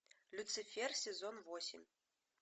люцифер сезон восемь